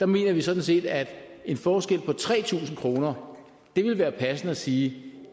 mener vi sådan set at en forskel på tre tusind kroner vil være passende at sige at